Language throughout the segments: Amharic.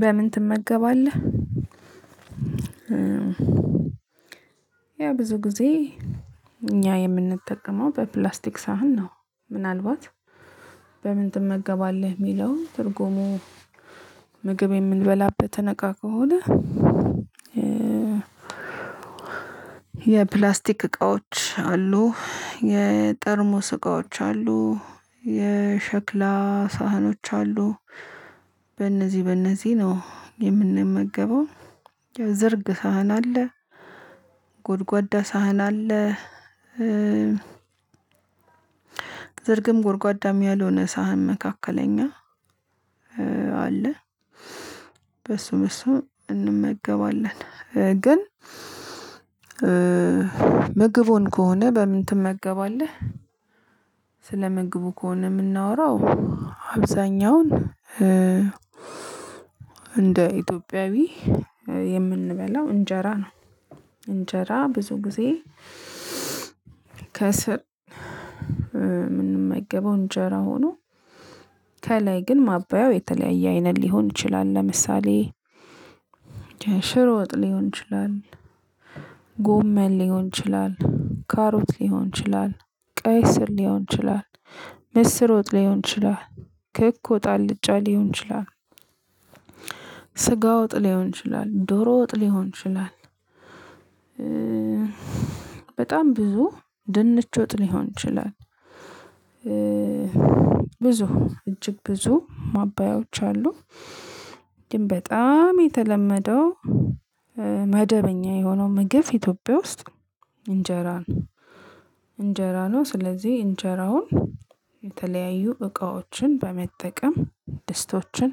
በምን ትመገባለህ ያው ብዙ ጊዜ እኛ የምንጠቀመው በፕላስቲክ ሳህን ነው ምናልባት በምን ትመገባለህ የሚለው ትርጉሙ ምግብ የምንበላበትን እቃ ከሆነ። የፕላስቲክ እቃዎች አሉ። የጠርሙስ እቃዎች አሉ የሸክላ ሳህኖች አሉ። በነዚህ በእነዚህ ነው የምንመገበው። የዝርግ ሳህን አለ ጎድጓዳ ሳህን አለ። ዝርግም ጎድጓዳም ያልሆነ ሳህን መካከለኛ አለ። በሱ በሱ እንመገባለን። ግን ምግቡን ከሆነ በምን ትመገባለህ? ስለምግቡ ከሆነ የምናወራው። አብዛኛውን እንደ ኢትዮጵያዊ የምንበላው እንጀራ ነው። እንጀራ ብዙ ጊዜ ከስር የምንመገበው እንጀራ ሆኖ ከላይ ግን ማባያው የተለያየ አይነት ሊሆን ይችላል። ለምሳሌ ሽሮ ወጥ ሊሆን ይችላል። ጎመን ሊሆን ይችላል ካሮት ሊሆን ይችላል ቀይ ስር ሊሆን ይችላል። ምስር ወጥ ሊሆን ይችላል። ክኮ ወጥ አልጫ ሊሆን ይችላል። ስጋ ወጥ ሊሆን ይችላል ዶሮ ወጥ ሊሆን ይችላል። በጣም ብዙ ድንች ወጥ ሊሆን ይችላል። ብዙ እጅግ ብዙ ማባያዎች አሉ። ግን በጣም የተለመደው መደበኛ የሆነው ምግብ ኢትዮጵያ ውስጥ እንጀራ ነው። እንጀራ ነው ስለዚህ እንጀራውን የተለያዩ እቃዎችን በመጠቀም ድስቶችን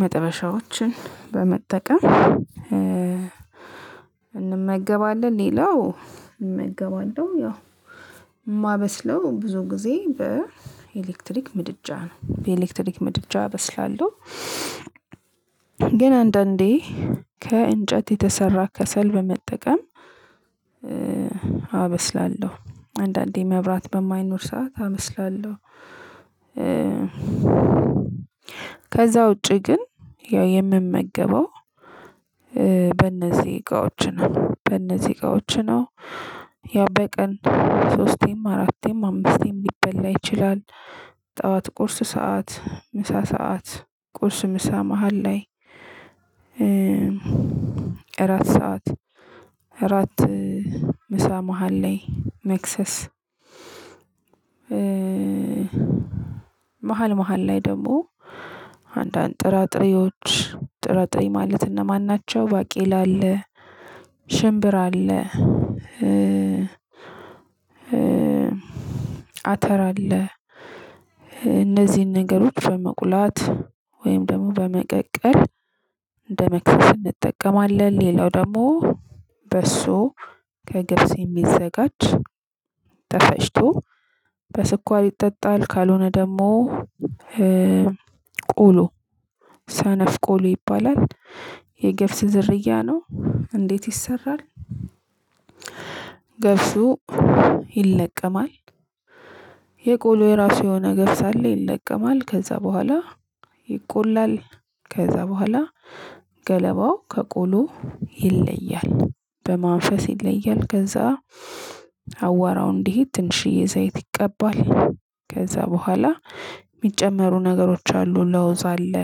መጥበሻዎችን በመጠቀም እንመገባለን። ሌላው እመገባለሁ ያው የማበስለው ብዙ ጊዜ በኤሌክትሪክ ምድጃ ነው በኤሌክትሪክ ምድጃ እበስላለሁ። ግን አንዳንዴ ከእንጨት የተሰራ ከሰል በመጠቀም አበስላለሁ አንዳንዴ መብራት በማይኖር ሰዓት አበስላለሁ። ከዛ ውጪ ግን ያው የምመገበው በእነዚህ እቃዎች ነው በእነዚህ እቃዎች ነው። ያው በቀን ሶስቴም አራቴም አምስቴም ሊበላ ይችላል። ጠዋት ቁርስ ሰዓት ምሳ ሰዓት ቁርስ ምሳ መሃል ላይ እራት ሰዓት እራት ምሳ መሃል ላይ መክሰስ። መሃል መሃል ላይ ደግሞ አንዳንድ ጥራጥሬዎች ጥራጥሬ ማለት እነማን ናቸው? ባቄል አለ ሽምብራ አለ። አተር አለ። እነዚህን ነገሮች በመቁላት ወይም ደግሞ በመቀቀል እንደመክሰስ እንጠቀማለን። ሌላው ደግሞ በሶ ከገብስ የሚዘጋጅ ተፈጭቶ በስኳር ይጠጣል። ካልሆነ ደግሞ ቆሎ ሰነፍ ቆሎ ይባላል። የገብስ ዝርያ ነው። እንዴት ይሰራል? ገብሱ ይለቀማል የቆሎ የራሱ የሆነ ገብስ አለ ይለቀማል ከዛ በኋላ ይቆላል። ከዛ በኋላ ገለባው ከቆሎው ይለያል በማንፈስ ይለያል ከዛ አቧራው እንዲሄድ ትንሽዬ ዘይት ይቀባል። ከዛ በኋላ የሚጨመሩ ነገሮች አሉ ለውዝ አለ።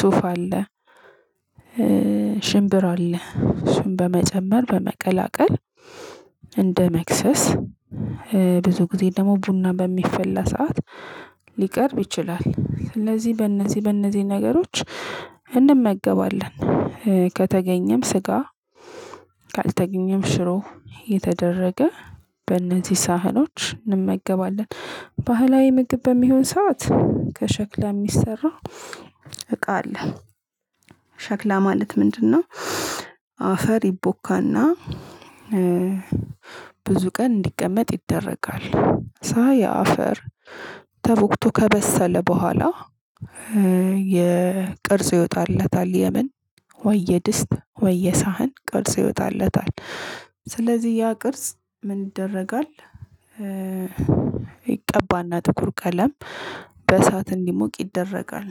ሱፍ አለ። ሽምብራ አለ እሱን በመጨመር በመቀላቀል እንደ መክሰስ ብዙ ጊዜ ደግሞ ቡና በሚፈላ ሰዓት ሊቀርብ ይችላል። ስለዚህ በእነዚህ በእነዚህ ነገሮች እንመገባለን። ከተገኘም ስጋ ካልተገኘም ሽሮ እየተደረገ በእነዚህ ሳህኖች እንመገባለን። ባህላዊ ምግብ በሚሆን ሰዓት ከሸክላ የሚሰራው እቃ አለ። ሸክላ ማለት ምንድነው? አፈር ይቦካና ብዙ ቀን እንዲቀመጥ ይደረጋል። ሳያፈር ተቦክቶ ከበሰለ በኋላ የ ቅርጽ ይወጣለታል። የምን ወይ የድስት የሳህን ቅርጽ ይወጣለታል። ስለዚህ ያ ቅርጽ ምን ይደረጋል? ይቀባና ጥቁር ቀለም በእሳት እንዲሞቅ ይደረጋል